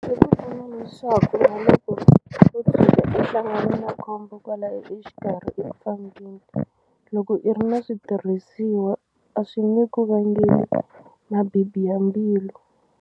Swi pfuna leswaku na loko wo tshuka u hlangane na khombo kwalaya exikarhi eku fambeni loko i ri na switirhisiwa a swi nge ku vangeli mabibi ya mbilu.